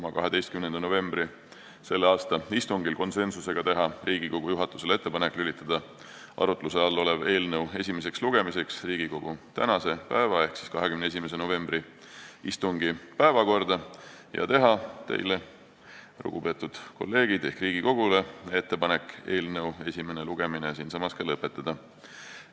a 12. novembri istungil konsensusega teha Riigikogu juhatusele ettepaneku lülitada arutluse all olev eelnõu esimeseks lugemiseks Riigikogu tänase päeva ehk 21. novembri istungi päevakorda ja teha teile, lugupeetud kolleegid, ehk Riigikogule ettepaneku eelnõu esimene lugemine siinsamas ka lõpetada.